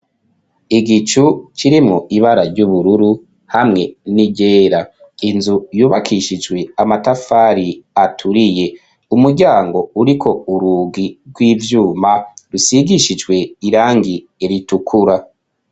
Igicu kirimwo ibara ry'ubururu hamwe n'iryera inzu yubakishijwe matafari aturiye umuryango uriko urugi rw'ivyuma usigishijwe irangi ritukura.